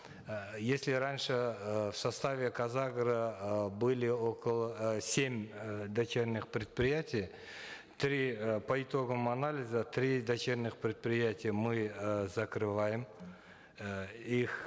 э если раньше э в составе казагро э были около э семь э дочерних предприятий три э по итогам анализа три дочерних предприятия мы э закрываем э их